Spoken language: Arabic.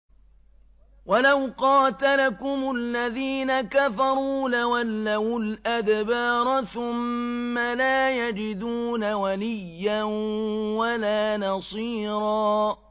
وَلَوْ قَاتَلَكُمُ الَّذِينَ كَفَرُوا لَوَلَّوُا الْأَدْبَارَ ثُمَّ لَا يَجِدُونَ وَلِيًّا وَلَا نَصِيرًا